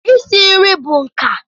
Isi nri bụ nka